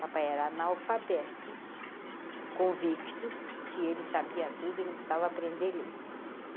Papai era analfabeto, convicto, que ele sabia tudo e não precisava aprender ler.